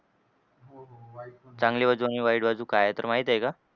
चांगली बाजू आणि वाईट बाजू काय आहे तर माहित आहे का?